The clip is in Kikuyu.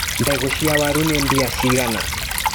Mbegũ cia waru nĩ mbia cigana.